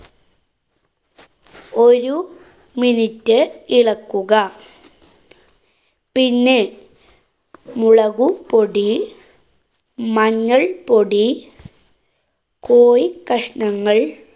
ഒരു minute ഇളക്കുക. പിന്നെ മുളകുപൊടി, മഞ്ഞള്‍പ്പൊടി, കോഴി കഷ്ണങ്ങള്‍